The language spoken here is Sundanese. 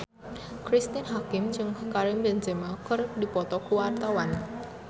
Cristine Hakim jeung Karim Benzema keur dipoto ku wartawan